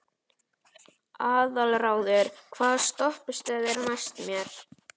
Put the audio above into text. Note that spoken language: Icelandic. Aðalráður, hvaða stoppistöð er næst mér?